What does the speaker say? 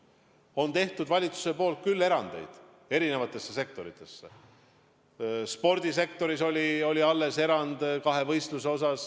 Valitsus on teinud eri sektoritele erandeid, näiteks spordisektoris oli alles erand kahevõistluse osas.